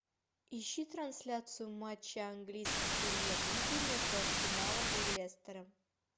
ищи трансляцию матча английской премьер лиги между арсеналом и лестером